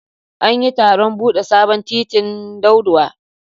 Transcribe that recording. An yi taron bude sabon titin Daudawa.